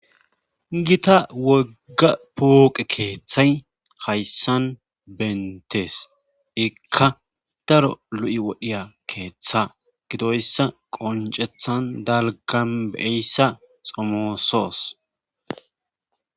gita wogga pooqe keeththay hayssan bentees ikka daro lu'i wodhiya keeththa gidoyssa qoncethan dalgam beeyssa xomoosos